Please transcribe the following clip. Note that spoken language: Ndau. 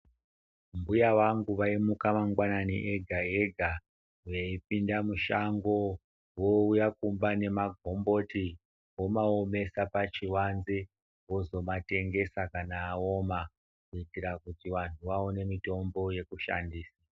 Mbuya vangu vaimuka mangwanani ega ega veipinda mushango vouya kumba nemagomboti vomaomesa pachivanze vozomatengesa kana aoma kuitira kuti vantu vaone mitombo yekushandisa.